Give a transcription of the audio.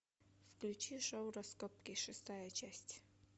включи шоу раскопки шестая часть